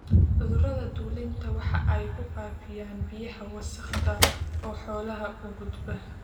Cudurrada dulinku waxa ay ku faafiyaan biyaha wasakhaysan oo xoolaha u gudba.